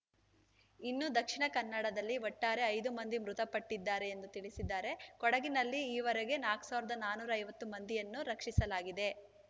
ಇನ್ನು ದಕ್ಷಿಣ ಕನ್ನಡದಲ್ಲಿ ಒಟ್ಟಾರೆ ಐದು ಮಂದಿ ಮೃತಪಟ್ಟಿದ್ದಾರೆ ಎಂದು ತಿಳಿಸಿದ್ದಾರೆ ಕೊಡಗಿನಲ್ಲಿ ಈವರೆಗೆ ನಾಕ್ ಸಾವಿರದ ನಾನೂರ ಐವತ್ತು ಮಂದಿಯನ್ನು ರಕ್ಷಿಸಲಾಗಿದೆ